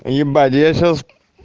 ебать я сейчас